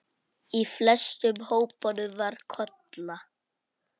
Í flestum hópunum var Kolla.